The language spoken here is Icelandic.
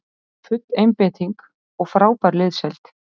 Full einbeiting og frábær liðsheild